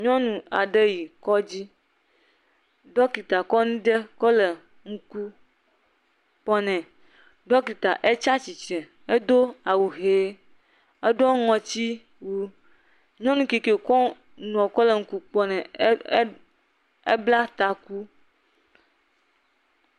Nyɔnu aɖe yi kɔdzi. Ɖɔkita kɔ nane kɔ le eŋku kpɔm ne. Ɖɔkita etsi tsitre. Edo awu ɣi. Eɖɔ ŋɔti wu. Nyɔnu kekeɛ wò kɔ nua le ŋku kpɔm ne la, ebla taku.